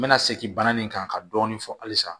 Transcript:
N bɛna segin bana in kan ka dɔɔni fɔ halisa